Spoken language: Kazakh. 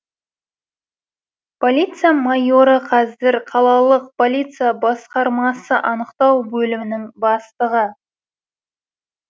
полиция майоры қазір қалалық полиция басқармасы анықтау бөлімінің бастығы